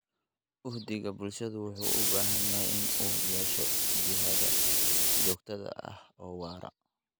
Uhdhigga bulshada wuxuu u baahan yahay in uu yeesho jihada joogtada ah oo waara.